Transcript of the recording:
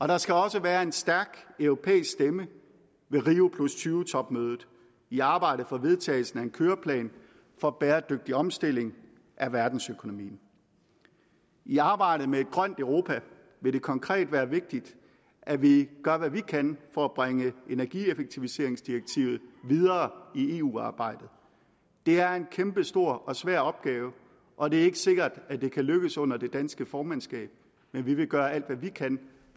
der skal også være en stærk europæisk stemme ved rio20 topmødet i arbejdet for vedtagelsen af en køreplan for bæredygtig omstilling af verdensøkonomien i arbejdet med et grønt europa vil det konkret være vigtigt at vi gør hvad vi kan for at bringe energieffektiviseringsdirektivet videre i eu arbejdet det er en kæmpestor og svær opgave og det er ikke sikkert at det kan lykkes under det danske formandskab men vi vil gøre alt hvad vi kan